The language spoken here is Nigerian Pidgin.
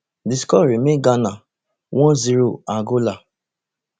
di score remain ghana one zero angola